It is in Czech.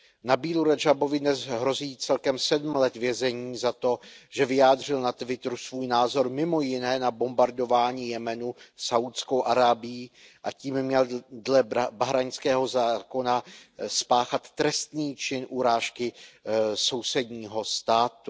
Nabílu Radžábovi dnes hrozí celkem 7 let vězení za to, že vyjádřil na Twitteru svůj názor mimo jiné na bombardování Jemenu Saúdskou Arábií, a tím měl dle bahrajnského zákona spáchat trestný čin urážky sousedního státu.